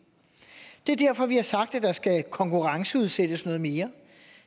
det er derfor at vi har sagt at der skal konkurrenceudsættes noget mere